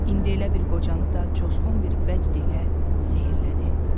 İndi elə bil qocanı da coşğun bir vəcd ilə sehrlədi.